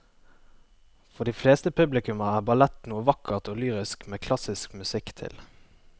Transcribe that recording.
For de fleste publikummere er ballett noe vakkert og lyrisk med klassisk musikk til.